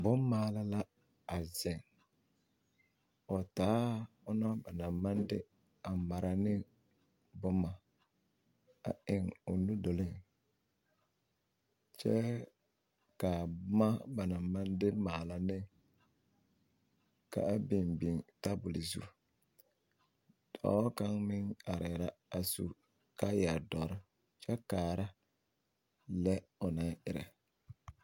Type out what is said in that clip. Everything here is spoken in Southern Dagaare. Boŋ maala la a zeŋ o ona ba naŋ maŋ de mara ne boma a eŋ o nu duluŋ kyɛ ka boma banaŋ maŋ de maala ne ka a biŋ biŋ tebol zu dɔɔ kaŋ meŋ arɛɛ la a su kaaya dɔre kyɛ kaara lɛ o naŋ erɛ.